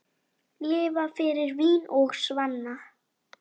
Lifa fyrir vín og svanna.